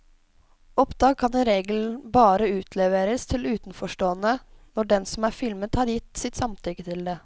Opptak kan i regelen bare utleveres til utenforstående når den som er filmet har gitt sitt samtykke til det.